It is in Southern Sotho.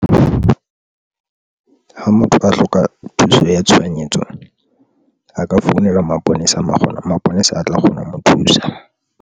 Ha motho a hloka thuso ya tshohanyetso, a ka founela maponesa, maponesa a tla kgona ho mo thusa.